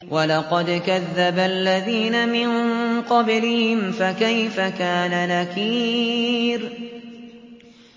وَلَقَدْ كَذَّبَ الَّذِينَ مِن قَبْلِهِمْ فَكَيْفَ كَانَ نَكِيرِ